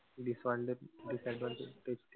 disadvantage